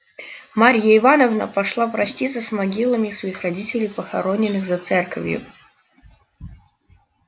марья ивановна пошла проститься с могилами своих родителей похороненных за церковью